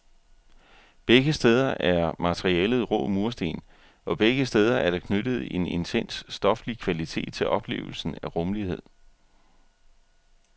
Begge steder er materialet rå mursten, og begge steder er der knyttet en intens stoflig kvalitet til oplevelsen af rumlighed.